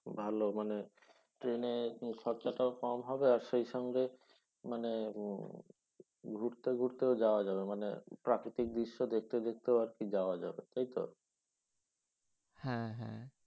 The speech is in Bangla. ভাল। মানে ট্রেনে খরচাটাও কম হবে আর সেই সঙ্গে মানে ঘুরতে ঘুরতেও যাওয়া যাবে মানে প্রাক্রিতিক দৃশ্য দেখতে দেখতে আর কি যাওয়া যাবে। তাই তো? হ্যাঁ হ্যাঁ।